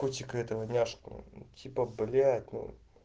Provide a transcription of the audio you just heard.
котика этого няшку типа блять ну